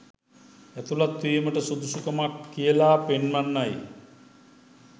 ඇතුලත් වීමට සුදුසු කමක් කියලා පෙන්වන්නයි.